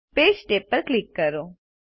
page tab પર click કરો